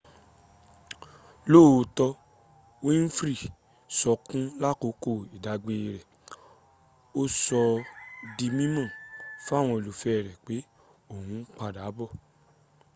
lóòótọ́ winfrey ń sọkún lákòókò ìdágbére rẹ̀ ó sọ s´ di mímọ̀ fáwọn olólùfẹ́ rẹ̀ pé òun padà bọ̀